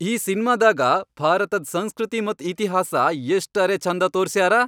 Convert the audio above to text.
ಈ ಸಿನ್ಮಾದಾಗ ಭಾರತದ್ ಸಂಸ್ಕೃತಿ ಮತ್ತ್ ಇತಿಹಾಸ ಎಷ್ಟರೆ ಛಂದ ತೋರ್ಸ್ಯಾರ.